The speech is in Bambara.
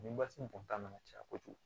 Nin basi in kɔni ta nana caya kojugu